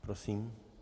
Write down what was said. Prosím.